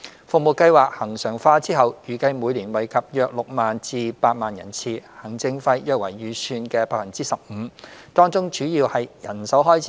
服務計劃恆常化後，預計每年惠及約6萬至8萬人次，行政費約為預算的 15%， 當中主要為人手開支。